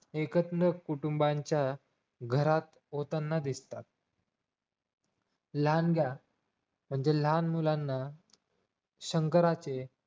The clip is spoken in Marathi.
एकत्र कुटुंबांच्या होताना दिसतात लहानगा म्हणजे लहान मुलांना शंकराचे